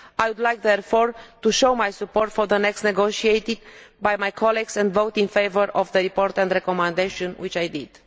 I would like, therefore, to show my support for the next negotiation by my colleagues and vote in favour of the important recommendation, which I did.